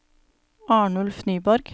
Arnulf Nyborg